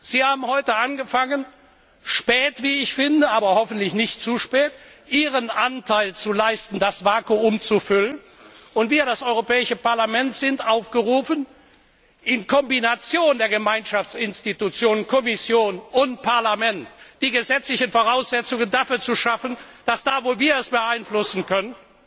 Sie haben heute angefangen spät, wie ich finde, aber hoffentlich nicht zu spät Ihren Anteil zu leisten, um das Vakuum zu füllen, und wir, das Europäische Parlament, sind aufgerufen, in Kombination der Gemeinschaftsorgane Kommission und Parlament die gesetzlichen Voraussetzungen dafür zu schaffen, dass da, wo wir es beeinflussen können,